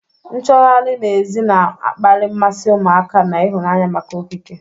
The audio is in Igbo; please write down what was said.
Nchọgharị n'èzí na-akpali mmasị ụmụaka na ịhụnanya maka okike,